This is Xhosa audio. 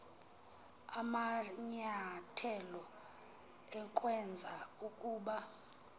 amanyathelo ukwenza ukuba